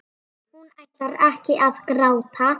Hún ætlar ekki að gráta.